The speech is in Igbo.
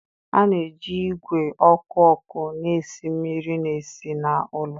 A na-eji ìgwè ọkụ ọkụ na-esi mmiri na-esi na ụlọ.